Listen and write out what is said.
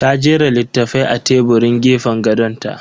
Ta jera littafai a teburin gefen gadon ta.